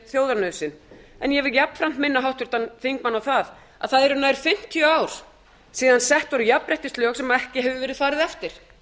þjóðarnauðsyn en ég vil jafnframt minna háttvirtan þingmann á það að það eru nær fimmtíu ár síðan sett voru jafnréttislög sem ekki hefur verið farið eftir